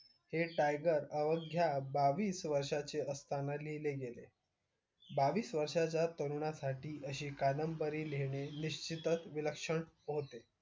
हे tiger अवघ्या बावीस वर्षाचे असतंना लिहिले गेले बावीस वर्षाच्या तरुणासाठी अशी कादंबरी लिहिणे निश्चितच विलक्षण होते